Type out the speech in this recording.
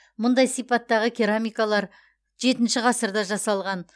мұндай сипаттағы керамикалар жетінші ғасырда жасалған